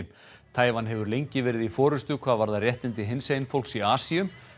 Taívan hefur lengi verið í forystu hvað varðar réttindi hinsegin fólks í Asíu